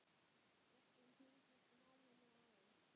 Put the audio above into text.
Boltinn tengist náminu aðeins.